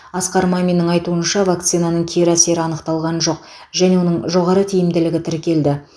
асқар маминнің айтуынша вакцинаның кері әсері анықталған жоқ және оның жоғары тиімділігі тіркелді